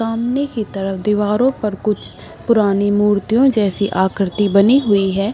सामने की तरफ दीवारों पर कुछ पुरानी मूर्तियों जैसी आकृति बनी हुई है।